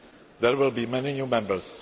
There will be many new Members.